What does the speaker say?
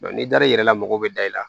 n'i dar'i yɛrɛ la mɔgɔw bɛ da i la